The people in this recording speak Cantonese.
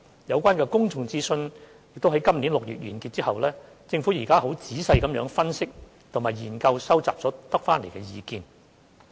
有關的公眾諮詢已於今年6月完結，政府現正仔細分析及研究收集所得的意見。